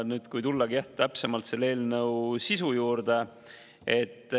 Tulen nüüd täpsemalt eelnõu sisu juurde.